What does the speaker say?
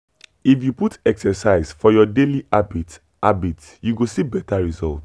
if you put exercise for your daily habit habit you go see better result.